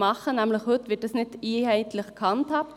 Denn heute wird das nicht einheitlich gehandhabt.